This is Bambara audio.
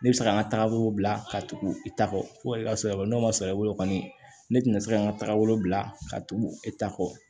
Ne bɛ se ka n ka tagabolo bila ka tugu i ta kɔ fo ka se n'o ma sɔn i bolo kɔni ne tɛ na se ka n ka tagabolo bila ka tugu e ta kɔ